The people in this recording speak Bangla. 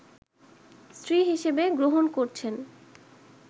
স্ত্রী হিসেবে গ্রহণ করছেন